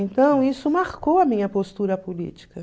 Então, isso marcou a minha postura política.